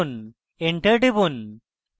enter টিপুন